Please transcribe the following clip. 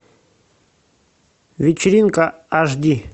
вечеринка аш ди